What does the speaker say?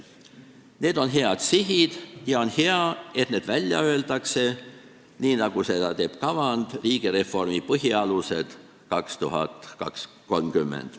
Need on head sihid ja on hea, et need välja öeldakse, nii nagu seda teeb kavand "Riigireformi põhialused 2030".